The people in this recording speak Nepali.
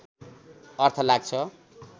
अर्थ लाग्छ